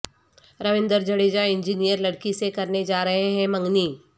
روندر Jadeja engineer لڑکی سے کرنے جا رہے ہیں منگنی